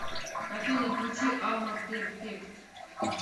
афина включи алма перфект